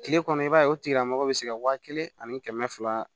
Kile kɔnɔ i b'a ye o tigila mɔgɔ bɛ se ka wa kelen ani kɛmɛ fila